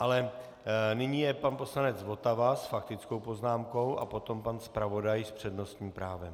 Ale nyní je pan poslanec Votava s faktickou poznámkou a potom pan zpravodaj s přednostním právem.